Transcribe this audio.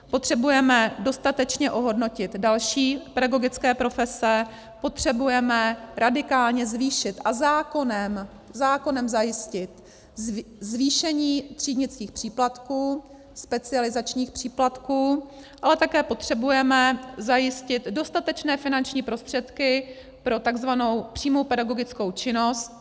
Potřebujeme dostatečně ohodnotit další pedagogické profese, potřebujeme radikálně zvýšit a zákonem zajistit zvýšení třídnických příplatků, specializačních příplatků, ale také potřebujeme zajistit dostatečné finanční prostředky pro tzv. přímou pedagogickou činnost.